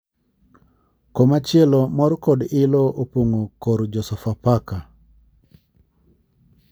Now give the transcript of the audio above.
Koma chielo mor kod ilo opongo kor jo sofa faka .